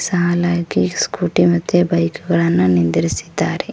ಸಾಲಾಗಿ ಸ್ಕೂಟಿ ಮತ್ತೆ ಬೈಕ್ ಗಳನ್ನು ನಿಂದ್ರಿಸಿದ್ದಾರೆ.